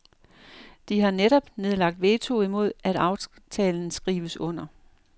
De har netop nedlagt veto imod at aftalen skrives under.